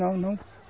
Não, não.